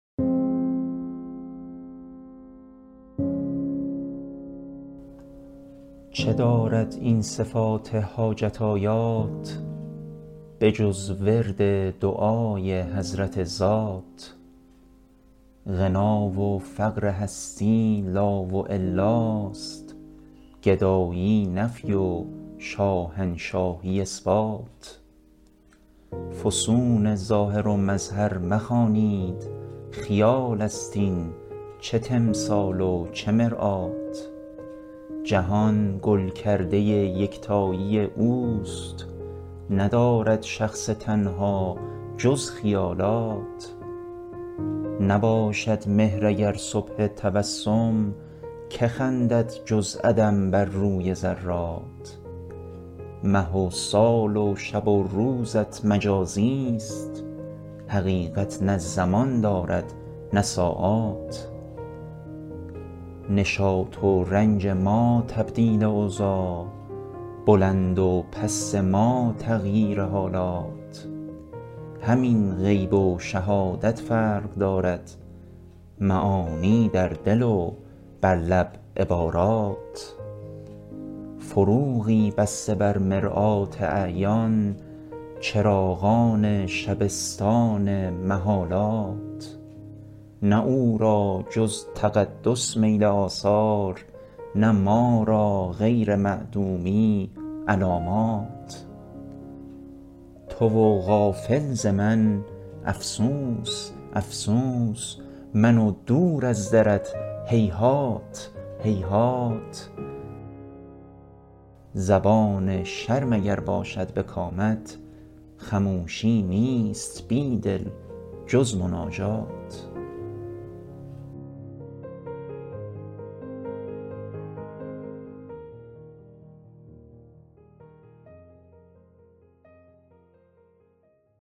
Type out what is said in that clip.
چه دارد این صفات حاجت آیات به جز ورد دعای حضرت ذات غنا و فقرهستی لا والاست گدایی نفی و شاهنشاهی اثبات فسون ظاهر و مظهر مخوانید خیال است این چه تمثال و چه مرآت جهان گل کرده یکتایی اوست ندارد شخص تنها جز خیالات نباشد مهر اگر صبح تبسم که خندد جز عدم بر روی ذرات مه وسال وشب وروزت مجازیست حقیقت نه زمان دارد نه ساعات نشاط و رنج ما تبدیل اوضاع بلند وپست ما تغییر حالات همین غیب و شهادت فرق دارد معانی در دل و برلب عبارات فروغی بسته بر مرآت اعیان چراغان شبستان محالات نه او را جزتقدس میل آثار نه ما را غیر معدومی علامات تو و غافل ز من افسوس افسوس من و دور از درت هیهات هیهات زبان شرم اگر باشد به کامت خموشی نیست بیدل جز مناجات